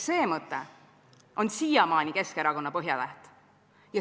See mõte on siiamaani Keskerakonna põhjatäht.